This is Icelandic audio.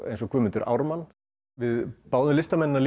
eins og Guðmundur Ármann við báðum listamennina